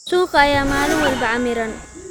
Suuqa ayaa maalin walba camiran.